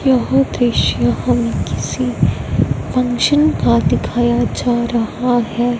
यह दृश्य हमें किसी फंक्शन का दिखाया जा रहा है।